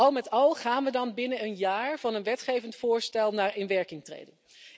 Al met al gaan we dan binnen een jaar van een wetgevend voorstel naar inwerkingtreding.